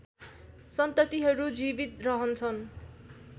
सन्ततिहरू जीवित रहन्छन्